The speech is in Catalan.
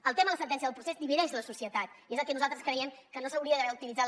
el tema de la sentència del procés divideix la societat i és el que nosaltres creiem que no s’hauria d’haver utilitzat